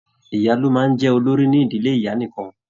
Ìyá ló máa n jẹ olórí n'ídílé ìyá nìkan.